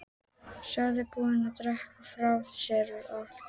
Séu búin að drekka frá sér allt vit.